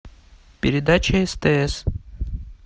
передача стс